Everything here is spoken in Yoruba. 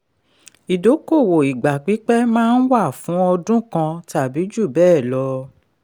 ìdókòwò ìgbà pípẹ́ máa ń wà fún ọdún kan tàbí jù bẹ́ẹ̀ lọ.